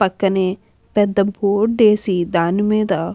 పక్కనే పెద్ద బోటు వేసి దానిమీద --